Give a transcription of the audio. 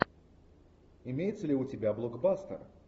имеется ли у тебя блокбастер